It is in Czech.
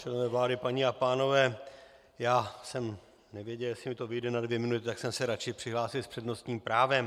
Členové vlády, paní a pánové, já jsem nevěděl, jestli mi to vyjde na dvě minuty, tak jsem se radši přihlásil s přednostním právem.